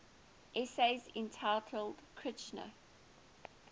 essays entitled kritika